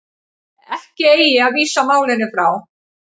Ekki eigi að vísa málinu frá